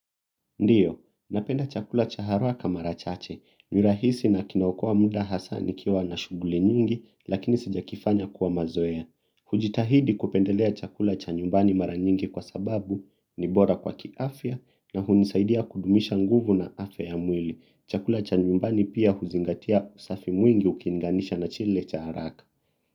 Ndiyo, napenda chakula cha haraka mara chache, ni rahisi na kinaokoa muda hasa nikiwa na shughuli nyingi, lakini sijakifanya kuwa mazoea. Hujitahidi kupendelea chakula cha nyumbani mara nyingi kwa sababu ni bora kwa kiafya na hunisaidia kudumisha nguvu na afya ya mwili. Chakula cha nyumbani pia huzingatia usafi mwingi ukilinganisha na kile cha haraka.